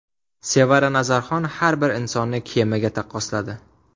Sevara Nazarxon har bir insonni kemaga taqqosladi.